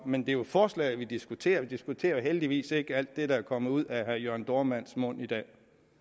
men det er forslaget vi diskuterer vi diskuterer jo heldigvis ikke alt det der er kommet ud af herre jørn dohrmanns mund i dag